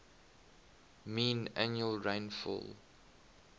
mean annual rainfall